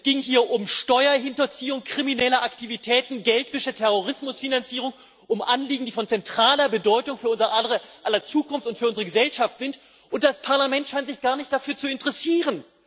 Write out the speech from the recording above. Es ging um Steuerhinterziehung, kriminelle Aktivitäten, Geldwäsche, Terrorismusfinanzierung, um Anliegen, die von zentraler Bedeutung für unser aller Zukunft und für unsere Gesellschaft sind, und das Parlament scheint sich gar nicht dafür zu interessieren.